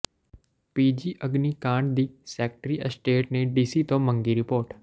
PG ਅਗਨੀਕਾਂਡ ਦੀ secretary estate ਨੇ ਡੀਸੀ ਤੋਂ ਮੰਗੀ ਰਿਪੋਰਟ